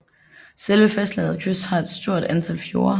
Selve fastlandets kyst har et stort antal fjorde